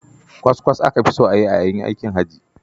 Kwaskwas aka fi so a yi a yayin aikin hajji.